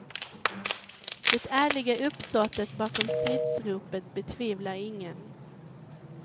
Det ärliga uppsåtet bakom stridsropet betvivlar ingen.